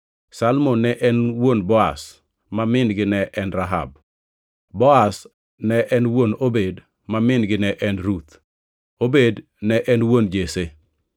Salmon ne en wuon Boaz, ma min-gi ne en Rahab. Boaz ne en wuon Obed ma min-gi ne en Ruth, Obed ne en wuon Jesse,